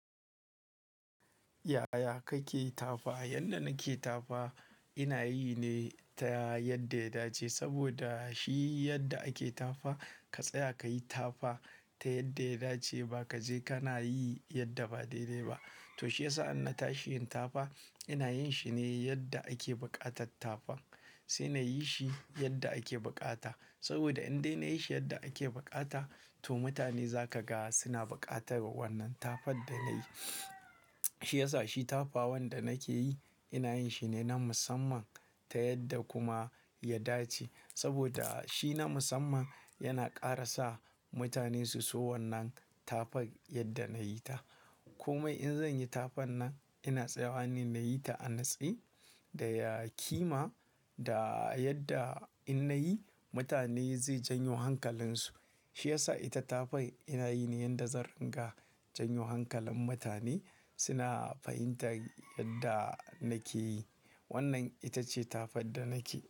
Yaya kake yi tafa? Yanda nake tafa ina yi ne ta yadda ya dace. Saboda shi yadda ake tafa ka tsaya ka yi tafa ta yadda ya dace ba kaje kana yi yadda ba dai dai ba. To shi yasa ina tashi yin tafa ina yin shi ne yadda ake buƙatar tafa sai nayi shi yadda ake bukata. Saboda in dai nayi shi yadda ake bukata to mutane za ka ga suna bukatar wannan tafan da na yi. Shi yasa shi tafa wanda nake yi ina yin shi ne na musamman ta yadda kuma ya dace. Saboda shi na musamman yana ƙara sa mutane su so wannan tafar yadda nayi ta. Kuma in zanyi tafan nan ina tsayawa ne nayi ta a natse da ƙima da yadda in nayi mutane zai janyo hankalinsu. Shi yasa ita tafan ina yi ne yadda zan riga janyo hankalin mutane suna fahimtar yadda nake yi. Wannan ita ce tafar da nake yi.